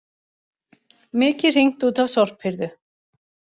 Mikið hringt út af sorphirðu